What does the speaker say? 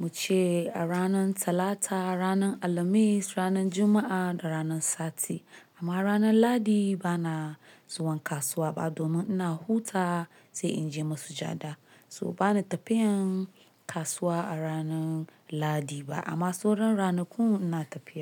muce a ranar Talata, ranar Alhamis, ranar Juma'a da ranar Sati. Amma ranar Lahadi bana zuwan kasuwa ba domin ina hutawa sai in je masujada. So bana tafiyan kasuwa a ranar Lahadi ba amma sauran ranakun ina tafiya.